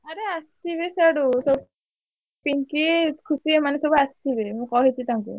ଆରେ ଆସିବେ ସାଡୁ ସ~ ପିଙ୍କି, ଖୁସି ଏମାନେ ସବୁ ଆସିବେ ମୁଁ କହିଛି ତାଙ୍କୁ।